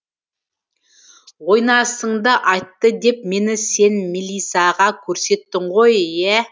ойнасыңды айтты деп мені сен мілисаға көрсеттің ғой иә